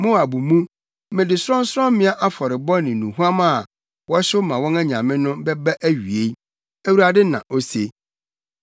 Moab mu, mede sorɔnsorɔmmea afɔrebɔ ne nnuhuam a wɔhyew ma wɔn anyame no, bɛba awiei,” Awurade, na ose.